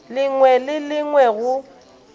lengwe le le lengwe go